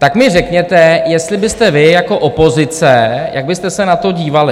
Tak mi řekněte, jestli byste vy jako opozice, jak byste se na to dívali.